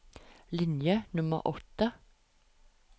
Linje nummer åtte